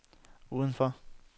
udenfor